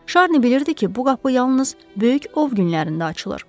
Şarni bilirdi ki, bu qapı yalnız böyük ov günlərində açılır.